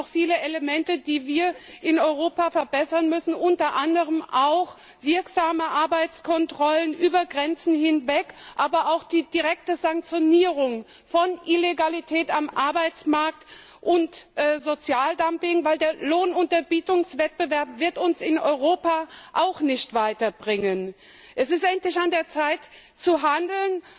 Da gibt es noch viele Elemente, die wir in Europa verbessern müssen, unter anderem auch wirksame Arbeitskontrollen über Grenzen hinweg, aber auch die direkte Sanktionierung von Illegalität am Arbeitsmarkt und Sozialdumping, weil der Lohnunterbietungswettbewerb uns in Europa auch nicht weiterbringen wird. Es ist endlich an der Zeit, zu handeln.